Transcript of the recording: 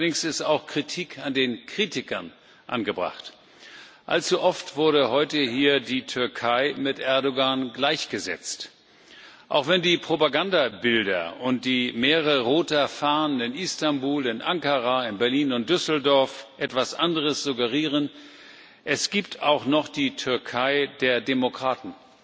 Allerdings ist auch Kritik an den Kritikern angebracht Allzu oft wurde heute hier die Türkei mit Erdoğan gleichgesetzt. Auch wenn die Propagandabilder und die Meere roter Fahnen in Istanbul, in Ankara, in Berlin und Düsseldorf etwas anderes suggerieren es gibt auch noch die Türkei der Demokraten,